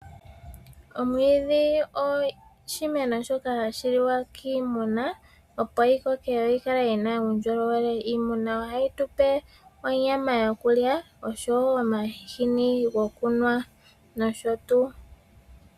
Omwiidhi oshimeno shoka hashi liwa kiimuna opo yi koke yo yikale yina uundjolowele. Iimuna ohayi tupe onyama yoku lya oshowo omahini gwoku nwa nosho tuu.